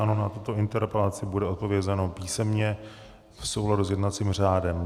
Ano, na tuto interpelaci bude odpovězeno písemně v souladu s jednacím řádem.